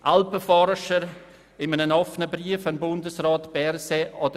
Alpenforscher haben einen offenen Brief an Bundesrat Berset verfasst.